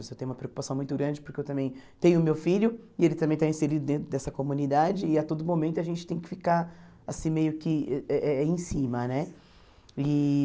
Eu só tenho uma preocupação muito grande porque eu também tenho meu filho e ele também está inserido dentro dessa comunidade e a todo momento a gente tem que ficar assim meio que eh em cima, né? E